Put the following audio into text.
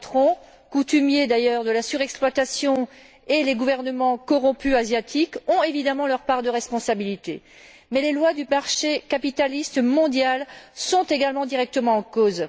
Les patrons, coutumiers d'ailleurs de la surexploitation, et les gouvernements asiatiques corrompus ont évidemment leur part de responsabilités. Mais les lois du marché capitaliste mondial sont également directement en cause.